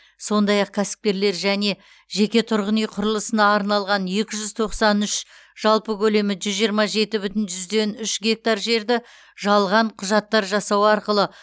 сондай ақ кәсіпкерлер және жеке тұрғын үй құрылысына арналған екі жүз тоқсан үш жалпы көлемі жүз жиырма жеті бүтін жүзден үш гектар жерді жалған құжаттар жасау арқылы